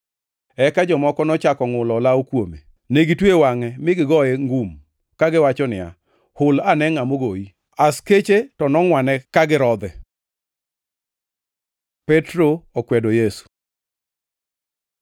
Eka jomoko nochako ngʼulo olawo kuome. Negitweyo wangʼe mi gigoye ngum, kagiwacho niya, “Hul ane ngʼa mogoyi.” Askeche to nongʼwane ka girodhe. Petro okwedo Yesu